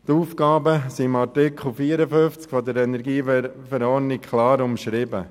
Die Aufgaben sind im Artikel 54 KEnV klar umschrieben.